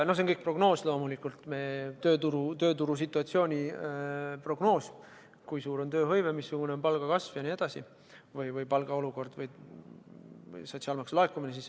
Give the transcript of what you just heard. See kõik on loomulikult prognoos, tööturu situatsiooni prognoos: kui suur on tööhõive ja missugune on palgaolukord ehk kui palju laekub sotsiaalmaksu.